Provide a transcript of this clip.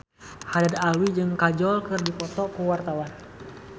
Haddad Alwi jeung Kajol keur dipoto ku wartawan